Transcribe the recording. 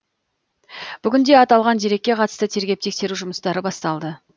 бүгінде аталған дерекке қатысты тергеп тексеру жұмыстары басталды